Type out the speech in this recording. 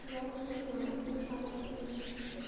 то я это понимаю я шарю в политике